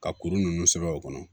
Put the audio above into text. Ka kuru ninnu sɛbɛ o kɔnɔ